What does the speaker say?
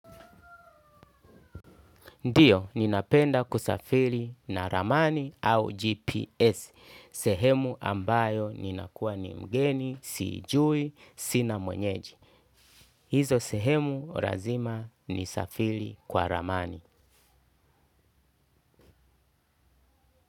Ndiyo, ninapenda kusafiri na ramani au GPS. Sehemu ambayo ninakua ni mgeni, siijui, sina mwenyeji. Hizo sehemu lazima nisafiri kwa ramani.